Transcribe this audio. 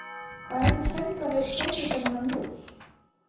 Hvað heitir söngvari hljómsveitarinnar Muse?